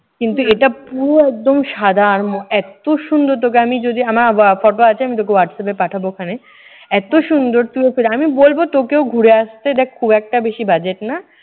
কিন্তু এটা পুরো একদম সাদা আর এত সুন্দর তোকে আমি যদি আমার হোয়া ফটো আছে আমি তোকে হোয়াটসঅ্যাপে পাঠাবো ওখানে। এতো সুন্দর তুইও আমি বলবো তোকেও ঘুরে আসতে। দেখ খুব একটা বেশি budget না।